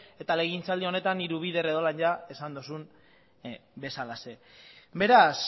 eta legegintza aldi honetan hiru bider edo horrela esan duzun bezalaxe beraz